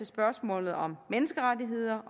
spørgsmålet om menneskerettigheder